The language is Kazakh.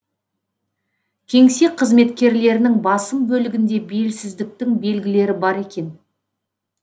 кеңсе қызметкерлерінің басым бөлігінде белсіздіктің белгілері бар екен